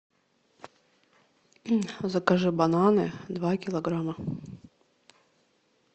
закажи бананы два килограмма